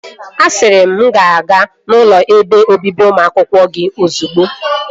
Asịrị m gị gaa n'ụlọ ebe obibi ụmụ akwụkwọ gị ozugbo!